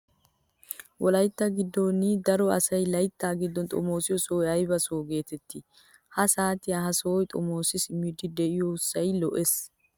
Wolayitta giddon diyaa daro asayi layittaa giddon xomoosiyoo sohayi ayiba sohaa geteettii? Ha saatiyan ha sohaa xomoosidi simmiiddi diya asayi soyisee